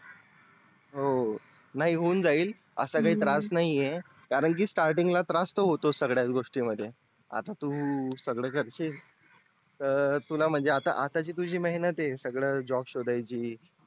हो हो नाही होऊन असा जाइल काहीच त्रास नाही आहे कारण starting ला त्रास तर होतोच सगळ्या गोष्टी मध्ये आता तू सगळ करशील तर तुला म्हणजे आता आता जी तुझी मेहनत आहे सगळ job शोधण्याची